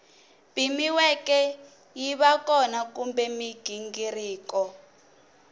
pimiweke yiva kona kumbe mighingiriko